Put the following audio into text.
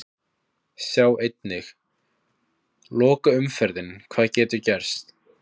Sjá einnig: Lokaumferðin- Hvað getur gerst?